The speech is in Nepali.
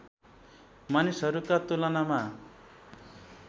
मानिसहरूका तुलनामा